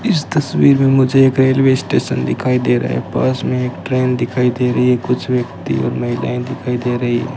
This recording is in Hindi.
इस तस्वीर में मुझे एक रेलवे स्टेशन दिखाई दे रहा हैं पास में एक ट्रेन दिखाई दे रही है कुछ व्यक्ति और महिलाएं दिखाई दे रही हैं।